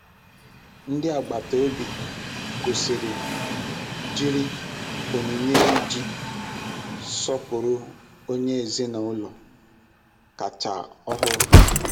Ndị agbata obi kwụsịrị jiri onyinye iji sọpụrụ onye ezinaụlọ kacha ọhụrụ.